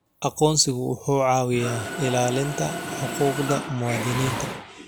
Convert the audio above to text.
Aqoonsigu wuxuu caawiyaa ilaalinta xuquuqda muwaadiniinta.